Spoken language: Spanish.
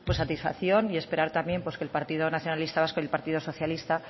pues satisfacción y esperar también que el partido nacionalista vasco y el partido socialista